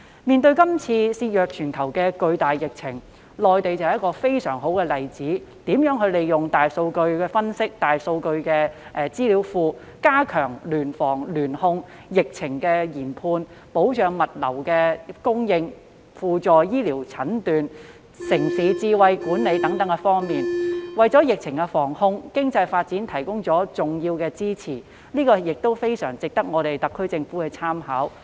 面對這次肆虐全球的巨大疫情，內地是非常好的例子，示範如何善用大數據分析和大數據資料庫，加強聯防聯控、疫情研判、保障物資供應、輔助醫療診斷和城市智慧管理等方面，為疫情防控及經濟發展提供了重要的支持，非常值得特區政府參考。